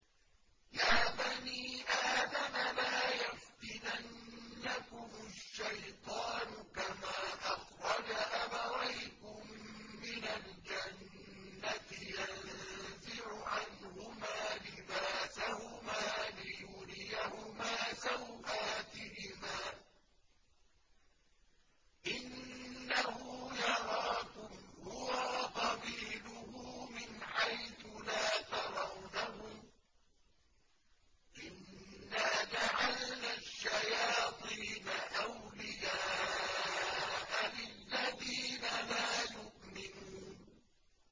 يَا بَنِي آدَمَ لَا يَفْتِنَنَّكُمُ الشَّيْطَانُ كَمَا أَخْرَجَ أَبَوَيْكُم مِّنَ الْجَنَّةِ يَنزِعُ عَنْهُمَا لِبَاسَهُمَا لِيُرِيَهُمَا سَوْآتِهِمَا ۗ إِنَّهُ يَرَاكُمْ هُوَ وَقَبِيلُهُ مِنْ حَيْثُ لَا تَرَوْنَهُمْ ۗ إِنَّا جَعَلْنَا الشَّيَاطِينَ أَوْلِيَاءَ لِلَّذِينَ لَا يُؤْمِنُونَ